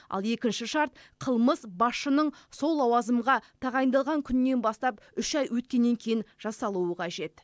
ал екінші шарт қылмыс басшының сол лауазымға тағайындалған күнінен бастап үш ай өткеннен кейін жасалуы қажет